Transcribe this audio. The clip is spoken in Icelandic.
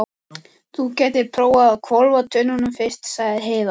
Þú gætir prófað að hvolfa tunnunum fyrst, sagði Heiða.